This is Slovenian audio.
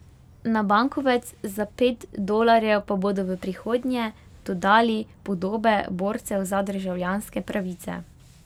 Na bankovec za pet dolarjev pa bodo v prihodnje dodali podobe borcev za državljanske pravice.